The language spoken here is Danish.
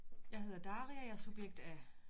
Jeg hedder Daria jeg er subjekt A